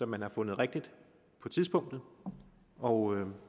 man har fundet rigtigt på tidspunktet og